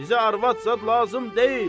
Bizə arvad zad lazım deyil.